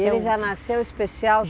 E ele já nasceu especial?